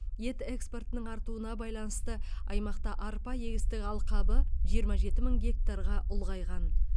ет экспортының артуына байланысты аймақта арпа егістік алқабы жиырма жеті мың гектарға ұлғайған